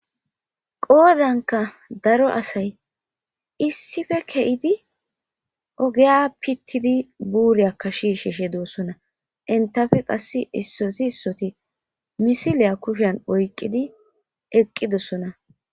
Qoodanka daro asay issife ke7idi ogeya pittidi buuriyakka shiishe she doossona intafe qass issoti issoti misiliya kushen oyqqidi eqqidossona.